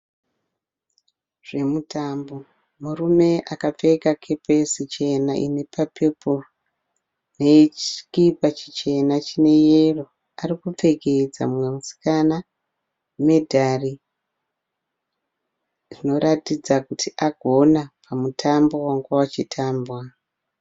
Zvemitambo. Murume akapfeka kepesi chena ine kapepuru nechikipa chichena chine yero ari kupfekedza mumwe musikana medhari inoratidza kuti agona mutambo wanga uchitambwa.